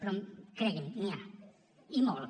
però cregui’m n’hi ha i molt